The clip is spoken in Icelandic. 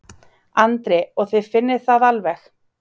Andri: Og þið finnið það alveg?